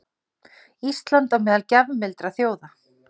Ísland á meðal gjafmildra þjóða